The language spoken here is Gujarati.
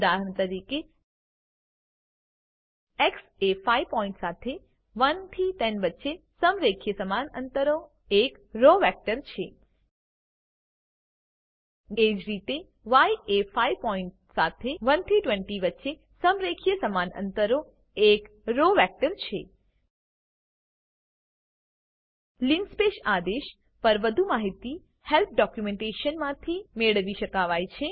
ઉદાહરણ તરીકે એક્સ એ 5 પોઈન્ટ સાથે 1 થી 10 વચ્ચે સમ્રેખીય સમાન અંતરનો એક રો વેક્ટર છે એજ રીતે ય એ 5 પોઈન્ટ સાથે 1 થી 20 વચ્ચે સમ્રેખીય સમાન અંતરનો એક રો વેક્ટર છે લિનસ્પેસ આદેશ પર વધુ માહિતી હેલ્પ ડોક્યુંમેન્ટેશનમાંથી મેળવી શકાય છે